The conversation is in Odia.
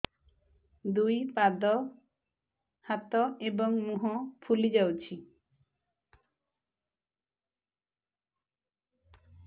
ଦୁଇ ପାଦ ହାତ ଏବଂ ମୁହଁ ଫୁଲି ଯାଉଛି